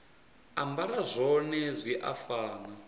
ambara zwone zwi a fana